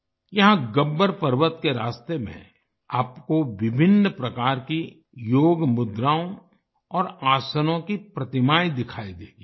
यहां गब्बर पर्वत के रास्ते में आपको विभिन्न प्रकार की योग मुद्राओं और आसनों की प्रतिमाएं दिखाई देंगी